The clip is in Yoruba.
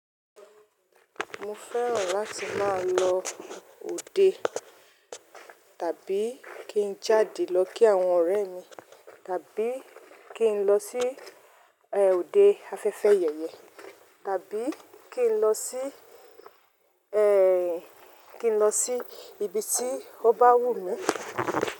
Mo fẹ́ràn láti máa lọ òde tàbí kí n jáde lọ kí àwọn ọ̀rẹ́ mi, tàbí kí n lọ sí òde afẹ́fẹ́ yẹ̀yẹ, tàbí kí n lọ sí, ẹ́ẹ́, kí n lọ sí ibi tí ó bá wù mí.